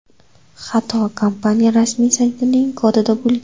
Xato kompaniya rasmiy saytining kodida bo‘lgan.